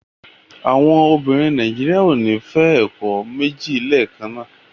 Àwọn obìnrin Nàíjíríà ò ní fẹ́ ọkọ méjì lẹ́ẹ̀kan náà.